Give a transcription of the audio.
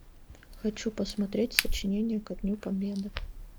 хочу посмотреть сочинение ко дню победы